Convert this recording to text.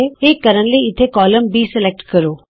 ਇਹ ਕਰਨ ਲਈ ਇਥੇ ਕਾਲਮ ਬੀ ਸਲੈਕਟ ਕਰੋ